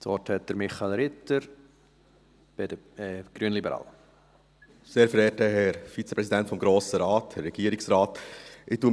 Ich fasse mich ganz kurz uns sage auch nur etwas zu Punkt 2.